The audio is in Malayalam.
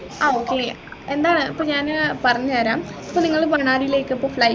ആ okay എന്താ ഇപ്പൊ ഞാൻ പറഞ്ഞുതരാം ഇപ്പൊ നിങ്ങള് മണാലിലേക്ക് ഇപ്പൊ flight